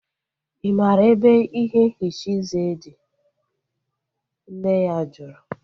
I maara ebe ihe nhicha eze dị? Nne ya jụrụ